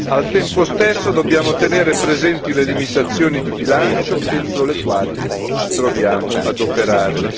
Al tempo stesso, dobbiamo tenere presenti le limitazioni di bilancio entro le quali ci troviamo ad operare.